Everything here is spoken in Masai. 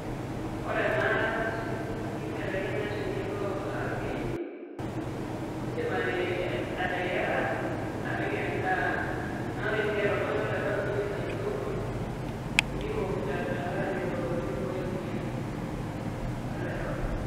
Ore ena keibelekenya tenilo akiny indiim ateyiara apik endaa naa ore sii peeta oltung'ani oloirobi indiim aidongo niwok tenkare nairowua peeibooyo emoyian oloirobi.